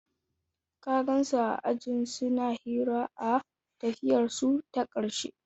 Ka gansu a ajin suna hira a tafiyarsu ta ƙarshe?